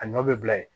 A nɔ bɛ bila yen